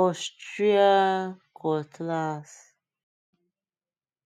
austrian cutlass